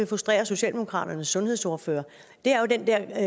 frustrerer socialdemokratiets sundhedsordfører er jo den der